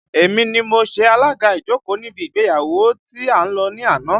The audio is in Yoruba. Èmi ni mo ṣe alaga ìjókòó níbi ìgbéyàwó tí a lọ ní àná